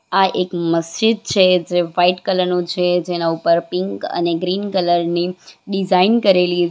આ એક મસ્જિદ છે જે વાઈટ કલર નો છે જેના ઉપર પિંક અને ગ્રીન કલર ની ડિઝાઇન કરેલી --